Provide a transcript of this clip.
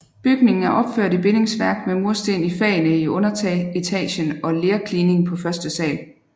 Bygningen er opført i bindingsværk med mursten i fagene i underetagen og lerklining på første sal